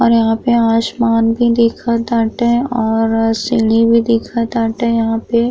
और यहाँ पे आसमान भी दिखत ताटे और सीढ़ी भी दिखत ताटे यहाँ पे।